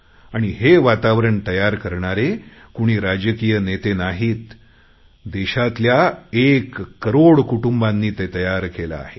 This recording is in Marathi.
आणि हे वातावरण तयार करणारे कुणी राजकीय नेते नाहीत देशातील एक करोड कुटुंबांनी ते तयार केले आहे